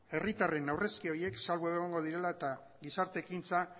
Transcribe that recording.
herritarren aurrezki horiek salbu egongo direla eta gizarte ekintza